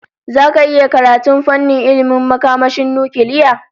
Zaka iya karatun fannin ilmin makamashin nukiliya?